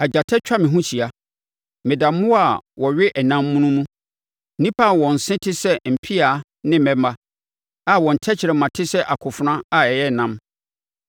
Agyata atwa me ho ahyia; meda mmoa a wɔwe ɛnam mono mu, nnipa a wɔn se te sɛ mpea ne mmɛmma na wɔn tɛkrɛma te sɛ akofena a ɛyɛ nnam.